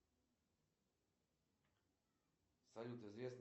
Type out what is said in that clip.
джой есть на примете хорошие спортклубы